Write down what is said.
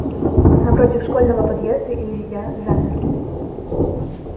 напротив школьного подъезда илья замер